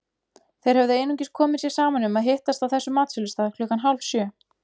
Þeir höfðu einungis komið sér saman um að hittast á þessum matsölustað klukkan hálfsjö.